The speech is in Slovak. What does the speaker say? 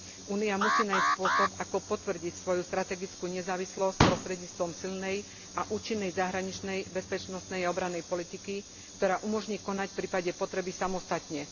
Únia musí nájsť spôsob, ako potvrdiť svoju strategickú nezávislosť prostredníctvom silnej a účinnej zahraničnej, bezpečnostnej a obrannej politiky, ktorá umožní konať v prípade potreby samostatne.